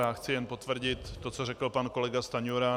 Já chci jen potvrdit to, co řekl pan kolega Stanjura.